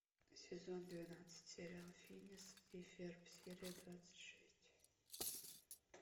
сезон двенадцать сериал финес и ферб серия двадцать шесть